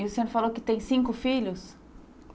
E o senhor falou que tem cinco filhos?